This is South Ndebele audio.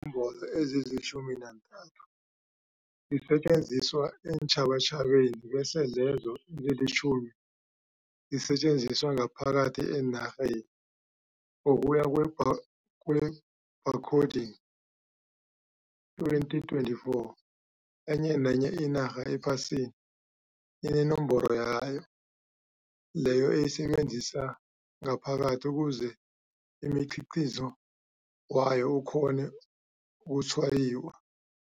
Iinomboro ezilitjhumi nantathu ngezisetjenziswa eentjhabatjhabeni bese lezo ezilitjhumi zisetjenziswe ngaphakathi enarheni. Ngokuya kwe-Bar kwe-Barcoding, 2024, enye nenye inarha ephasini inenomboro yayo leyo eyisebenzisa ngaphakathi ukuze umkhiqizo wayo ukhone ukutshwayiwa.